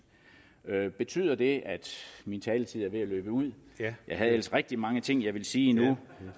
betyder det at min taletid er ved at løbe ud jeg havde ellers rigtig mange ting jeg også ville sige